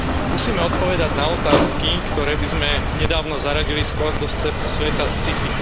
Musíme odpovedať na otázky, ktoré by sme nedávno zaradili skôr do sveta sci fi.